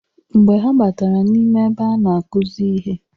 Mgbe ha batara n'ime ebe a na-akuzi ihe.